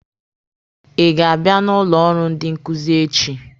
Ị ga-abịa n'ụlọ ọrụ ndị nkuzi echi?